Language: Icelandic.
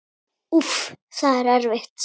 Úff, það er erfitt.